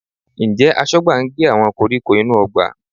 Ǹjẹ́ Aṣọ́gbà ń gé àwọn koríko inú ọgbà?